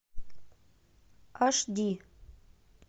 аш ди